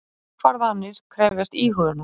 Ákvarðanir krefjast íhugunar.